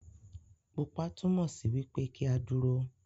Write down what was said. Pupa túmọ sí wipe ki a dúró.